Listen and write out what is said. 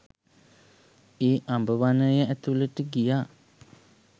ඒ අඹ වනය ඇතුලට ගියා